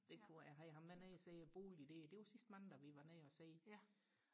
det tror jeg jeg havde ham med nede og se boliger der det var sidste mandag vi var nede og se